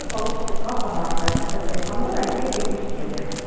вы получите два подарка это браслет пандора серьги пусеты